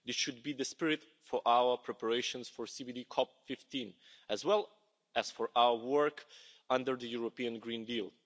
This should be the spirit for our preparations for CBD COP15, as well as for our work under the European Green Deal.